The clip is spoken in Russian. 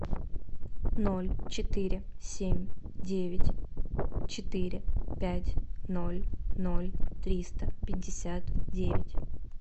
ноль четыре семь девять четыре пять ноль ноль триста пятьдесят девять